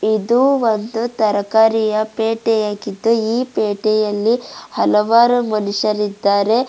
ಇದು ಒಂದು ತರಕಾರಿಯ ಪೇಟೆ ಆಗಿದ್ದು ಈ ಪೇಟೆಯಲ್ಲಿ ಹಲವಾರು ಮನುಷ್ಯ ರಿದ್ದಾರೆ.